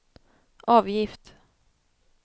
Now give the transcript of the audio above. avgift